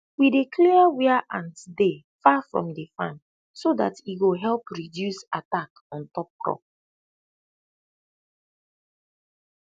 we dey clear wia ants dey far from de farm so dat e go help reduce attack ontop crop